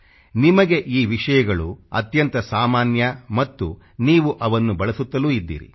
ನಿಮಗೆ ಈ ವಿಷಯಗಳು ಅತ್ಯಂತ ಸಾಮಾನ್ಯ ಮತ್ತು ನೀವು ಅವನ್ನು ಬಳಸುತ್ತಲೂ ಇದ್ದೀರಿ